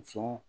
Sɔn